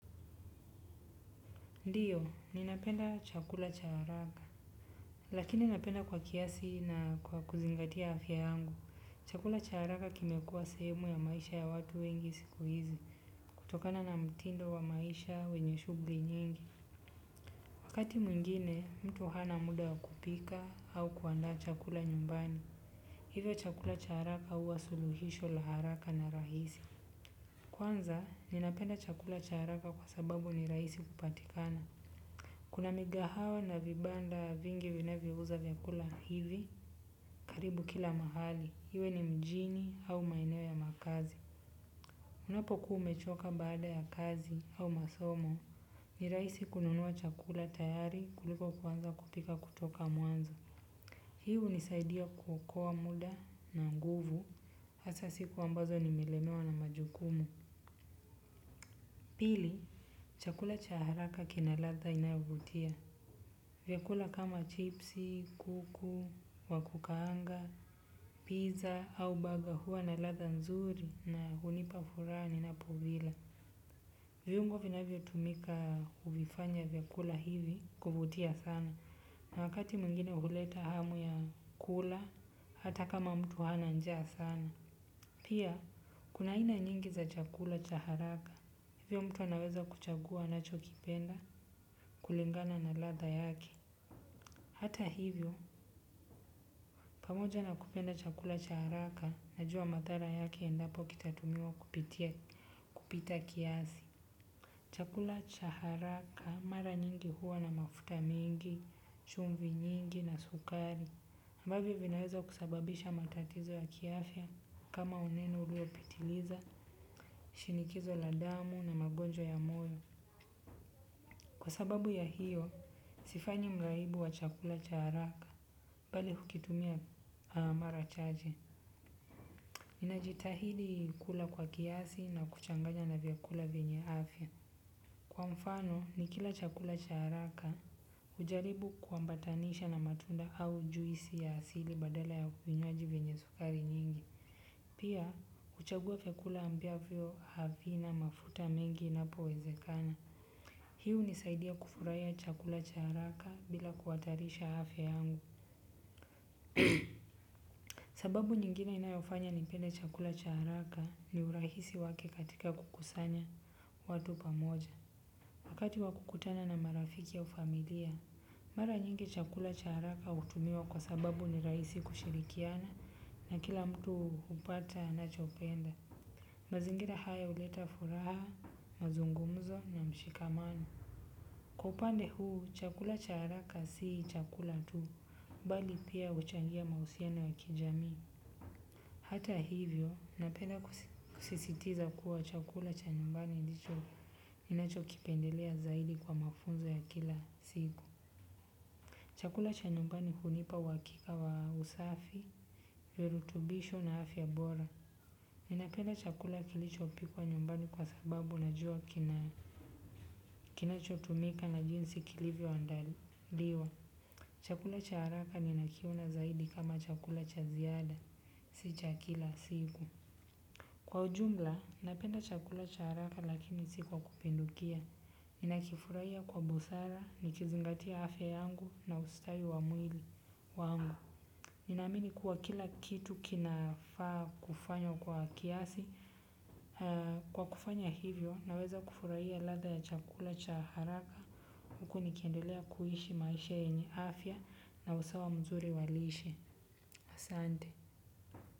Ndiyo, ninapenda chakula cha haraka. Lakini ninapenda kwa kiasi na kwa kuzingatia afya yangu. Chakula cha haraka kimekuwa semu ya maisha ya watu wengi siku hizi kutokana na mtindo wa maisha wenye shughuli nyingi. Wakati mwingine, mtu hana muda wa kupika au kuandaa chakula nyumbani. Hivyo chakula cha haraka huwa suluhisho la haraka na rahisi. Kwanza, ninapenda chakula cha haraka kwa sababu ni rahisi kupatikana. Kuna migahawa na vibanda vingi vinavyouza vyakula hivi karibu kila mahali, iwe ni mjini au maeneo ya makazi. Unapokuwa umechoka baada ya kazi au masomo, ni rahisi kununua chakula tayari kuliko kuanza kupika kutoka mwanzo. Hii hunisaidia kuokoa muda na nguvu, hasa siku ambazo nimelemewa na majukumu. Pili, chakula cha haraka kina ladha inayovutia. Vyakula kama chipsi, kuku, wa kukaanga, pizza au burger huwa na ladha nzuri na hunipa furaha ninapovila. Viungo vinavyotumika kuvifanya vyakula hivi kuvutia sana. Na wakati mwingine huleta hamu ya kula, hata kama mtu hana njaa sana. Pia, kuna aina nyingi za chakula cha haraka, hivyo mtu anaweza kuchagua anacho kipenda kulingana na ladha yake. Hata hivyo, pamoja na kupenda chakula cha haraka, najua madhara yake endapo kitatumiwa kupitia kupita kiasi. Chakula cha haraka, mara nyingi huwa na mafuta mingi, chumvi nyingi na sukari. Ambavyo vinaweza kusababisha matatizo ya kiafya kama unene ulio pitiliza, shinikizo la damu na magonjwa ya moyo. Kwa sababu ya hiyo, sifanyi mraibu wa chakula cha haraka bali hukitumia mara chache. Ninajitahidi kula kwa kiasi na kuchanganya na vyakula vyenye afya. Kwa mfano, nikila chakula cha haraka hujaribu kuambatanisha na matunda au juisi ya asili badala ya vinywaji vyenye sukari nyingi. Pia, huchagua vyakula ambvyo havina mafuta mengi inapo wezekana. Hii hunisaidia kufurahia chakula cha haraka bila kuhatarisha afya yangu. Sababu nyingine inayofanya nipende chakula cha haraka ni urahisi wake katika kukusanya watu pamoja. Wakati wa kukutana na marafiki au familia, mara nyingi chakula cha haraka hutumiwa kwa sababu ni rahisi kushirikiana na kila mtu hupata anachopenda. Mazingira haya huleta furaha, mazungumuzo na mshikamano. Kwa upande huu, chakula cha haraka si chakula tu, bali pia huchangia mahusiano ya kijami. Hata hivyo, napenda kusisitiza kuwa chakula cha nyumbani ndicho ninacho kipendelea zaidi kwa mafunzo ya kila siku. Chakula cha nyumbani hunipa uhakika wa usafi, virutubisho na afya bora. Ninapenda chakula kilicho pikwa nyumbani kwa sababu najua kina kinachotumika na jinsi kilivyoandaliwa. Chakula cha haraka nina kiona zaidi kama chakula cha ziada. Si cha kila siku. Kwa ujumla, napenda chakula cha haraka lakini si kwa kupindukia. Ninakifurahia kwa busara, nikizingatia afya yangu na ustawi wa mwili wangu. Ninaamini kuwa kila kitu kinafaa kufanywa kwa kiasi. Kwa kufanya hivyo, naweza kufurahia ladha ya chakula cha haraka huku nikiendelea kuishi maisha yenye afya na usawa mzuri wa lishe. Asante.